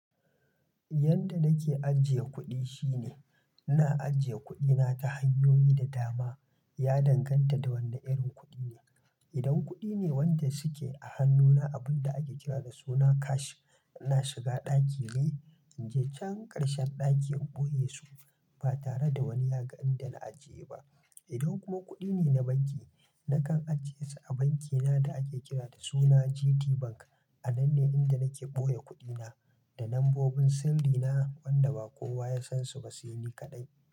Yanda nake ajiye kuɗi shine, ina ajiye kuɗina ta hanyoyi da dama, ya danganta da wane irin kuɗi ne. Idan kuɗi ne wanda suke a hannuna abun da ake kira da suna cash, ina shiga ɗaki ne, in je can ƙarshen ɗakin boye su ba tare da wani ya ga inda na ajiye ba. Idan kuma kuɗi ne na banki, nakan ajiye su a bankina da ake kira da suna GTBank. A nan ne inda nake boye kuɗina da nambobin sirrina, wanda ba kowa ya san su ba sai ni kaɗai.